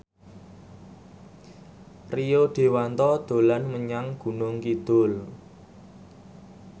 Rio Dewanto dolan menyang Gunung Kidul